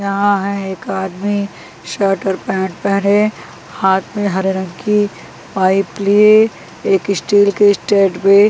यहाँ है एक आदमी शर्ट और पैंट पहने हाथ में हरे रंग की पाइप लिए एक स्टील की स्ट्रेट पे --